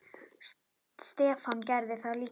Stefán gerði það líka.